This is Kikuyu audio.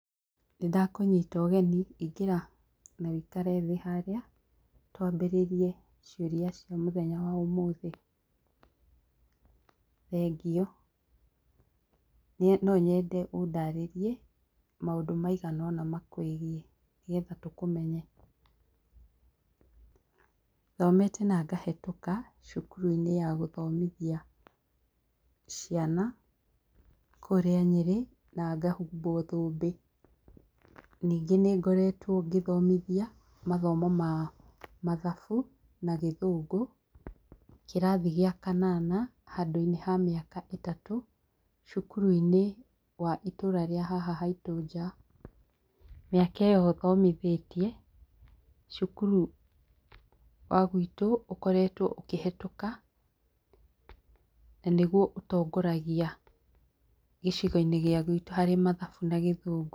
Nĩndakũnyita ũgeni, ingĩra na wĩikare thĩ harĩa twambĩrĩrie ciũria cia mũthenya wa ũmũthĩ, thengiũ. Niĩ no nyende ũndarĩrie maũndũ maiganona makwĩgie nĩgetha tũkũmenye. Thomete na ngahetũka cukuruinĩ ya gũthomithia ciana kũrĩa nyĩrĩ na ngahumbwo thũmbĩ ningĩ nĩngoretwo ngĩthomithia mathomo ma mathabu na gĩthũngũ kĩrathi gia kanana handũinĩ ha mĩaka ĩtatũ cukuruinĩ wa itũra rĩa haha haitũ nja mĩaka ĩyo thomithĩtie cukuru wagwitũ ũkoretwo ũkĩhetũka nanĩguo ũtongoragia gĩcigoinĩ gĩa gwitũ harĩ mathabu na gĩthũngũ.